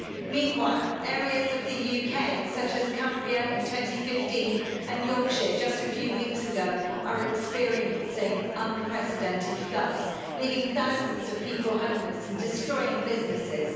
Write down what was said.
Meanwhile, areas of the UK such as Cumbria in 2015 and Yorkshire just a few weeks ago, are experiencing unprecedented floods, leaving thousands of people homeless and destroying businesses.